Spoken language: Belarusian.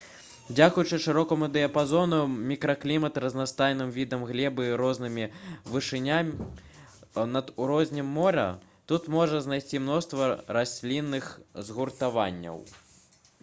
дзякуючы шырокаму дыяпазону мікракліматаў разнастайным відам глебы і розным вышыням над узроўнем мора тут можна знайсці мноства раслінных згуртаванняў